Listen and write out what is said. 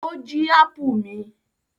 Ó jí ápù mi.